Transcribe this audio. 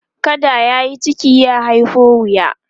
kada yayi ciki ya haiho wuya